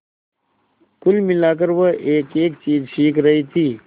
कुल मिलाकर वह एकएक चीज सीख रही थी